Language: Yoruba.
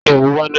Ta ni òǹwà náà.